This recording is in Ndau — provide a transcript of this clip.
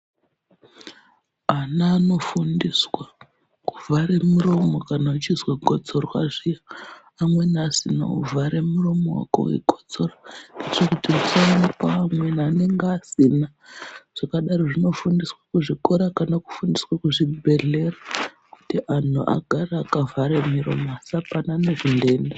Ana anofundiswa kuvhare muromo kana wechizwa gotsorwa zviya amweni asina , wovhare muromo wako weikotsora kotsora kuitire kuti usanooa amweni anenge asina, zvakadaro zvinofundiswa kuzvikora kana kufundiswa kuzvibhedhlera kuti anhu agare akavhara miromo asapanane zvindenda.